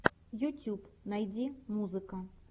ютюб найди музыка